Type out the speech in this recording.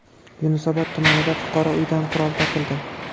Yunusobod tumanida fuqaro uyidan qurol topildi.